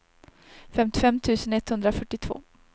femtiofem tusen etthundrafyrtiotvå